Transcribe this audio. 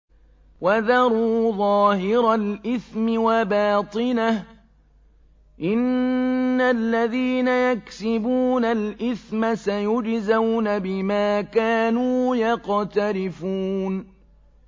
وَذَرُوا ظَاهِرَ الْإِثْمِ وَبَاطِنَهُ ۚ إِنَّ الَّذِينَ يَكْسِبُونَ الْإِثْمَ سَيُجْزَوْنَ بِمَا كَانُوا يَقْتَرِفُونَ